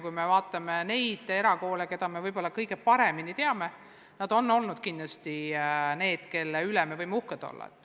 Kui me vaatame neid erakoole, keda me kõige paremini teame, siis nende üle me võime kindlasti uhked olla.